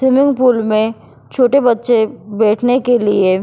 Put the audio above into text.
swimming pool में छोटे बच्चे बैठने के लिए --